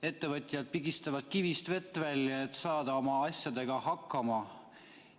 Ettevõtjad pigistavad kivist vett välja, et saada oma asjadega hakkama.